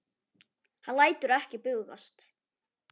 Hann lætur ekki bugast.